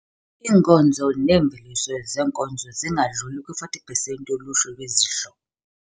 Iinkozo neemveliso zeenkozo zingadluli kwi 40 pesenti yoluhlu lwezidlo.